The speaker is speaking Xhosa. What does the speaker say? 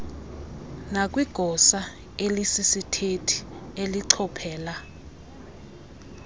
nakwigosa elisisithethi elichophela